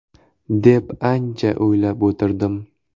‘deb ancha o‘ylab o‘tirdim.